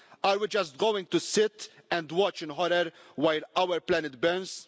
Are we just going to sit and watch in horror while our planet burns?